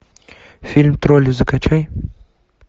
фильм тролли закачай